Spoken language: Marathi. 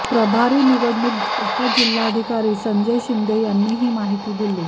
प्रभारी निवडणूक उपजिल्हाधिकारी संजय शिंदे यांनी ही माहिती दिली